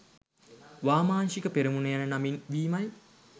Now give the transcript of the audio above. වාමාංශික පෙරමුණ යන නමින් වීමයි